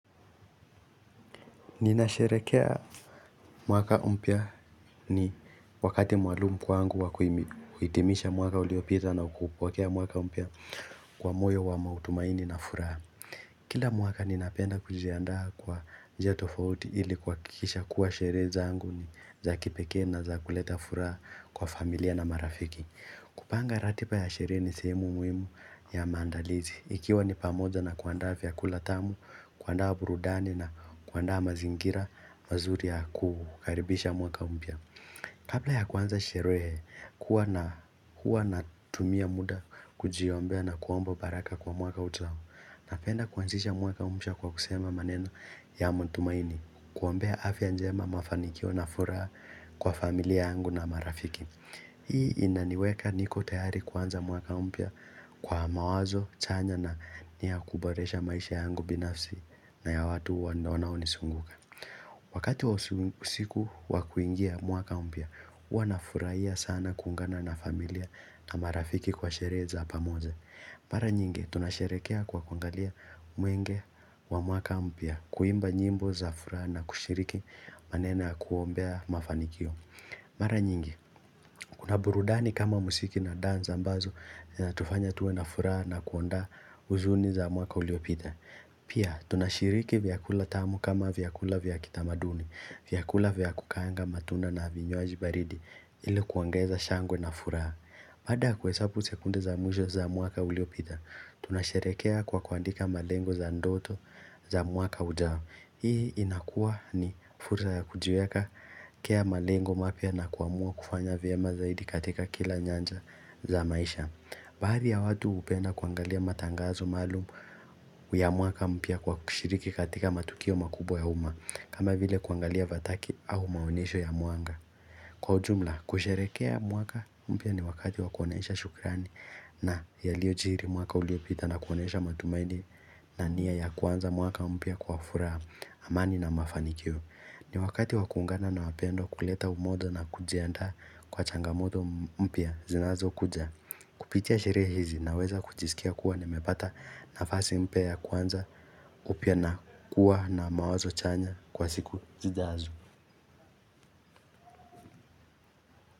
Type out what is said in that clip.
Ninasherehekea mwaka mpya ni wakati maalumu kwangu wakuhitimisha mwaka uliopita nakuupokea mwaka mpya kwa moyo wa matumaini na furaha. Kila mwaka ninapenda kujiaandaa kwa njia tofauti ili kuhakikisha kuwa sherehe za ngu ni za kipekee na za kuleta furaha kwa familia na marafiki. Kupanga ratiba ya sherehe ni sehemu muhimu ya maandalizi Ikiwa ni pamoza na kuandaa vyakula tamu, kuandaa burudani na kuandaa mazingira mazuri ya kukaribisha mwaka mpya Kabla ya kuanza sherehe, huwa na huwa na tumia muda kujiombea na kuomba baraka kwa mwaka ujao Ninapenda kuanzisha mwaka mpya kwa kusema maneno ya matumaini Kuombea afya njema mafanikio na furaha kwa familia yangu na marafiki Hii inaniweka niko tayari kuanza mwaka mpya kwa mawazo chanya na nia ya kuboresha maisha yangu binafsi na ya watu wanaonizunguka. Wakati wa usiku wakuingia mwaka mpya, huwa nafurahia sana kuungana na familia na marafiki kwa sherehe pamoja. Mara nyingi tunasherehekea kwa kuangalia mwenge wa mwaka mpya kuimba nyimbo za furaha na kushiriki maneno ya kuombea mafanikio. Mara nyingi, kuna burudani kama muziki na dansi ambazo hutufanya tuwe na furaha na kuondoa huzuni za mwaka uliopita Pia, tunashiriki vyakula tamu kama vyakula vyakitamaduni vyakula vyakukaanga matunda na vinywajibaridi ile kuongeza shangwe na furaha Baada ya kuhesabu sekunde za mwisho za mwaka uliopita Tunasherehekea kwa kuandika malengo za ndoto za mwaka ujao Hii inakua ni fursa ya kujiwekea malengo mapya na kuamua kufanya vyema zaidi katika kila nyanja za maisha Baadhi ya watu hupenda kuangalia matangazo maalumu ya mwaka mpya kwa kushiriki katika matukio makubwa ya uma kama vile kuangalia fataki au maonesho ya mwanga Kwa ujumla kusherehekea mwaka mpya ni wakati wakuonesha shukrani na yaliyo jili mwaka uliopita na kuonesha matumani na nia ya kuanza mwaka mpya kwa furaha amani na mafanikio. Ni wakati wakuungana na wapendwa kuleta umoja na kujiandaa kwa changamoto mpya zinazo kuja. Kupitia sherehe hizi naweza kujisikia kuwa nimepata nafasi mpya ya kuanza upya na kuwa na mawazo chanya kwa siku zijazo.